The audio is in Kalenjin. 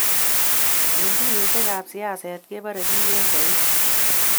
eng tuiyoshekab siaset kebare biik eng koik